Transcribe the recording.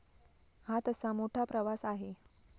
हा तसा मोठा प्रवास आहे.